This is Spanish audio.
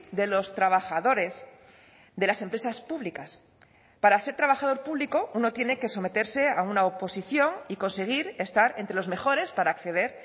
de los trabajadores de las empresas públicas para ser trabajador público uno tiene que someterse a una oposición y conseguir estar entre los mejores para acceder